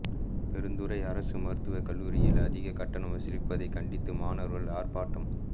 பெருந்துறை அரசு மருத்துவக்கல்லூரியில் அதிக கட்டணம் வசூலிப்பதை கண்டித்து மாணவர்கள் ஆர்ப்பாட்டம்